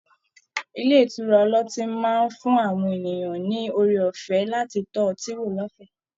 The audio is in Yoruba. Ilé ìtura ọlọ́tí máa ń fún àwọn ènìyàn ní oore ọ̀fẹ́ láti tọ́ ọtí wò lọ́fẹ̀ẹ́